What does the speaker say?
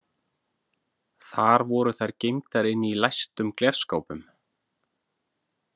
Þar voru þær geymdar inni í læstum glerskápum.